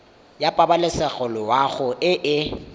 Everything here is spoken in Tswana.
ya pabalesego loago e e